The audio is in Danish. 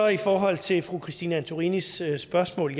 i forhold til fru christine antorinis spørgsmål